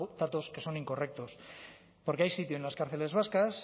datos que son incorrectos porque hay sitio en las cárceles vascas